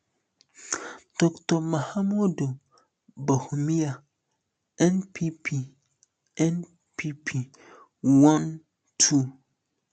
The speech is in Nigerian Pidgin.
dr mahamudu bawumia npp npp one two